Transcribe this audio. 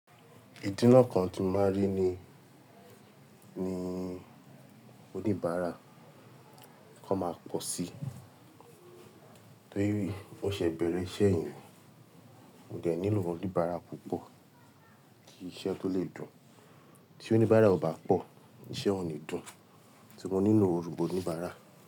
Ìdinà kan tí màá rí ní, ní oníbàárà, kò máa pọ̀ sí. Torí mó ṣe bẹ̀rẹ̀ iṣẹ́ yìí, mo dẹ̀ nílò oníbàárà púpọ̀, kí iṣẹ́ tó lè dùn. Tí oníbàárà ò bá pọ̀, iṣẹ́ ò ní dùn. Ti mo nílò òrùbo oníbàárà.